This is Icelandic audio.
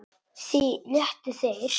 Því létu þeir